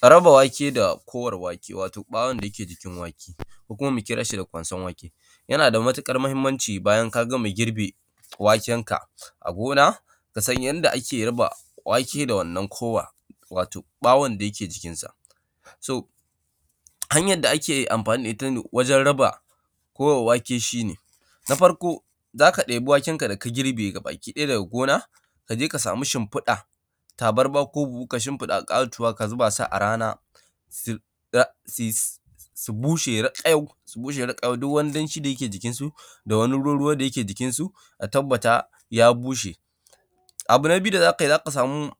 Ka raba wake da kowar wake, wato ɓawon da ke jikin wake, ko kuma mu kira shi da ƙwanson wake. Yana da matuƙar muhimmanci bayan ka gama girbe wakenka a gona, ka san yanda ake raba wake da wannan kowa, wato ɓawon da yake jikinsa. So, hanyar da ake amfani da ita wajen raba kowar wake shi ne, na farko, za ka ɗebi wakenka gabakiɗaya daga gona, ka je ka sami shimfiɗa, tabarma ko buhu ka shimfiɗa ƙatuwa ka zuba su a rana, su da,, su bushe raƙayau, su bushe raƙayau, duk wani danshi da yake jikinsu, da wani ruwa-ruwa da yake jikinsu, a tabbata ya bushe. Abu na na biyu da za ka yi, za ka samu,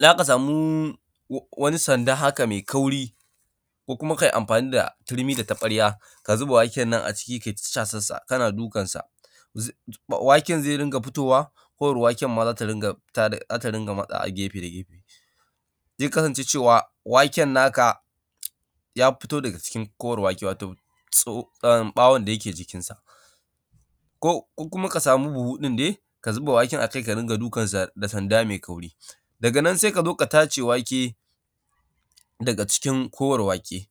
za ka samu wa, wani sanda haka mai kauri, ko kuma ka yi amfani da turmi da taɓarya, ka zuba waken nan a ciki ka yi ta casassa, kana dukansa. Zai, waken zai ringa fitowa, kowar waken ma za ta ringa fita, za ta ringa matsawa gefe da gefe. Zai kasance cewa waken naka ya fito daga cikin kowar wake, wato tso, ɓawon da yake jikinsa. Ko, ko kuma ka samu buhu ɗin dai, ka zuba waken ka ringa dukansa da sanda mai kauri. Daga nan sai ka zo ka tace wake, daga cikin kowar wake,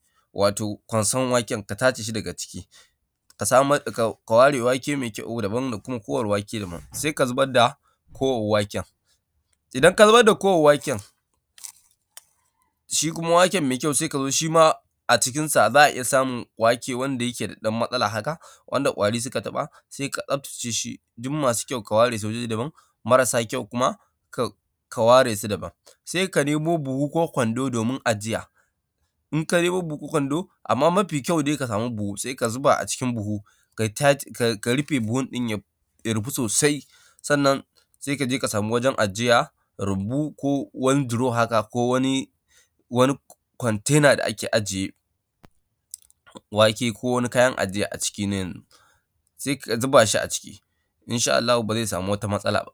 ka samar, ka ware wake mai kyau daban da kuma kowar wake daban, sai ka zubar da kowar waken. Idan ka zubar da kowar waken, shi kuma waken mai kyau sai ka zo, shi ma a cikinsa za a iya samun wake wanda yake da ɗan matsala haka, wanda ƙwari suka taɓa, sai ka tsabtace shi, duk masu kyau ware su waje daban, marasa kyau kuma ka, ka ware su daban. Sai ka nemo buhu ko kwando domin ajiya. In ka nemo buhu kwando, anna nafi kyau dai ka samu buhu ka zuba a cikin buhu, kai tac, ka rufe buhun ɗin, ka rufe ya rufu sosai, sannan sai ka je ka samu wajen ajiya, rumbu ko wani duro haka, ko wani, wani kwantena da ake ajiye wake ko wani kayan ajiya a ciki na yanzu, sai ka zuba shi a ciki, in sha Allah ba zai samu wata matsala ba.